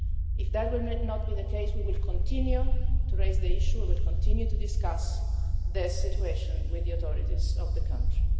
If that should not be the case, we will continue to raise the issue and will continue to discuss the situation with the authorities of the country.